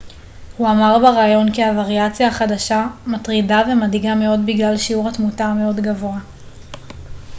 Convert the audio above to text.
הוא אמר בראיון כי הוריאציה החדשה מטרידה ומדאיגה מאוד בגלל שיעור התמותה המאוד גבוה